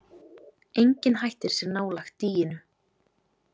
Enginn hættir sér nálægt dýinu.